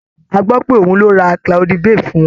A gbọ́ pé òun ló ra cloudy bay fún wọn.